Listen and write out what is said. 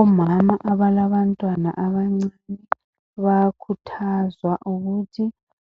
Omama abalabantwana abancinyane bayakhuthazwa ukuthi